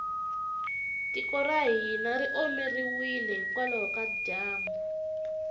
tiko ra hina ri omeriwile hikwalaho ka dyambu